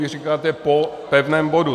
Vy říkáte po pevném bodu.